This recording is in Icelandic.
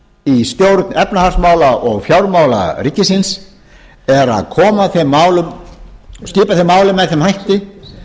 í stjórn efnahagsmála og fjármála ríkisins er að skipa þeim málum með þeim hætti